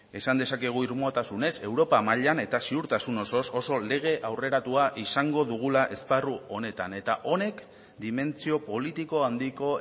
esan dezakegu irmotasunez europa mailan eta ziurtasun osoz oso lege aurreratua izango dugula esparru honetan eta honek dimentsio politiko handiko